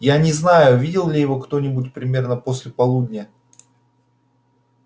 я не знаю видел ли его кто-нибудь примерно после полудня